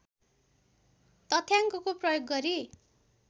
तथ्याङ्कको प्रयोग गरी